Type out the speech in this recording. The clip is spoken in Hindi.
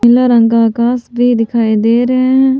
नीला रंग का आकाश भी दिखाई दे रहे हैं।